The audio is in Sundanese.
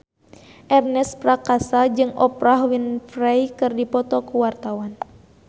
Ernest Prakasa jeung Oprah Winfrey keur dipoto ku wartawan